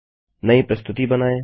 नई प्रस्तुति बनाएँ